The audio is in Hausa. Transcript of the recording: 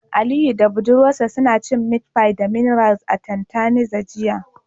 Aliyu da budurwarsa suna cin meat pie da mineral a tantalizer jiya